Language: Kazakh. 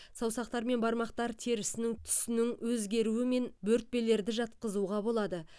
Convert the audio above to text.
саусақтар мен бармақтар терісінің түсінің өзгеруі мен бөртпелерді жатқызуға болады